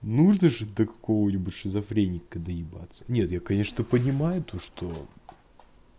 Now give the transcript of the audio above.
нужно же до какого-нибудь шизофреника доебаться нет я конечно понимаю то что